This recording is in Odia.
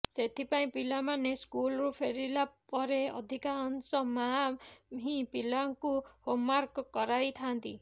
ସେଥିପାଇଁ ପିଲାମାନେ ସ୍କୁଲରୁ ଫେରିଲା ପରେ ଅଧିକାଂଶ ମାଆ ହିଁ ପିଲାଙ୍କୁ ହୋମ୍ୱାର୍କ କରାଇଥାନ୍ତି